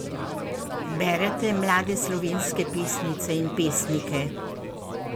Berete mlade slovenske pesnice in pesnike?